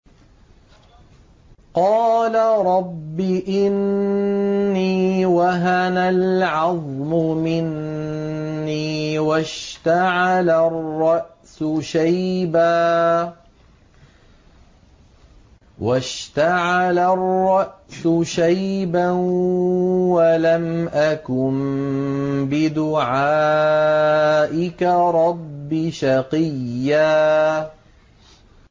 قَالَ رَبِّ إِنِّي وَهَنَ الْعَظْمُ مِنِّي وَاشْتَعَلَ الرَّأْسُ شَيْبًا وَلَمْ أَكُن بِدُعَائِكَ رَبِّ شَقِيًّا